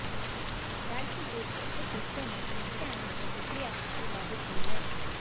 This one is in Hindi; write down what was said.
राज्य ग्रिड के कुछ हिस्से में समस्या आने से बिजली आपूर्ति बाधित हुई है